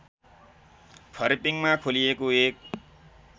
फर्पिङमा खोलिएको एक